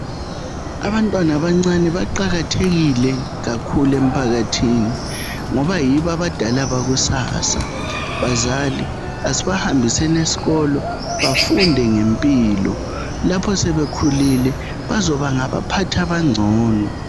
Abantwana abancane baqakathekile kakhulu emphakathini, ngoba yibo abadala bakusasa. Bazali, asibahambiseni esikolo bafunde ngempilo. Lapho sebekhulile bazoba ngabaphathi abangcono.